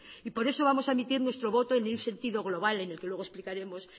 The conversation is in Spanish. y por eso vamos a emitir nuestro voto ni en un sentido global en el que luego explicaremos